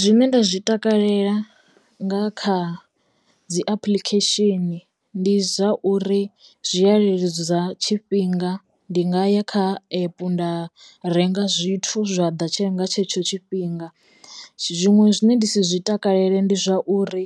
Zwine nda zwi takalela nga kha dzi apuḽikhesheni ndi zwa uri zwi a leludza tshifhinga ndi nga ya kha epu nda renga zwithu zwa ḓa nga tshetsho tshifhinga zwiṅwe zwine ndi si zwi takalele ndi zwa uri